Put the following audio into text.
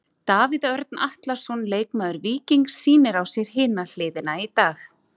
Davíð Örn Atlason, leikmaður Víkings sýnir á sér hina hliðina í dag.